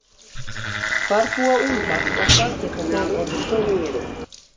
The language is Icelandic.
Hvar búa úlfar og hvað geta þeir orðið stórir?